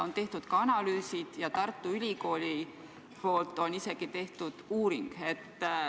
Tehtud on ka analüüsid ja Tartu Ülikool on teinud isegi uuringu.